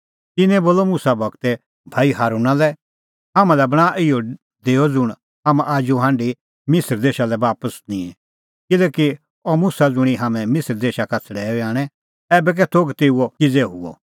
तिन्नैं बोलअ मुसा गूरे भाई हारूणा लै हाम्हां लै बणांआ इहअ देअ ज़ुंण हाम्हां आजू हांढी मिसर देशा लै बापस निंए किल्हैकि अह मुसा ज़ुंणी हाम्हैं मिसर देशा का छ़ड़ैऊई आणै ऐबै कै थोघ तेऊओ किज़ै हुअ